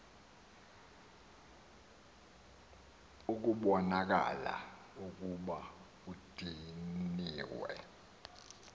ekubonakala ukuba udiniwe